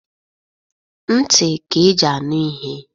Ntị ka e ji anụ ihe.